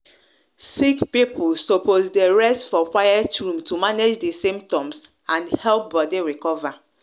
sick people suppose de rest for quiet room to manage di symptoms and help body recover